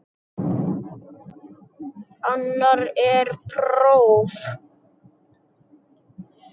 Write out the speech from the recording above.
Annar er próf.